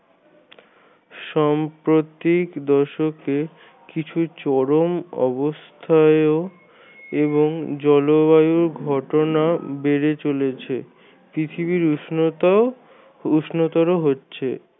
সম্প্রতিক দশকে কিছু চরম অবস্থায়ও এবং জলবায়ু ঘটনা বেড়ে চলেছে। পৃথিবীর উষ্ণতাও উষ্ণতর হচ্ছে।